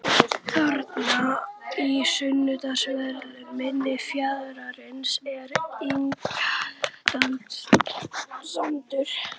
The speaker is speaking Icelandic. Þarna í sunnanverðu mynni fjarðarins er Ingjaldssandur.